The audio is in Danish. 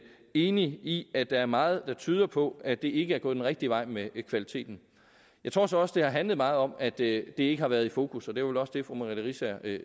enig i at der er meget der tyder på at det ikke er gået den rigtige vej med kvaliteten jeg tror så også at det har handlet meget om at det ikke har været i fokus og det var vel også det fru merete riisager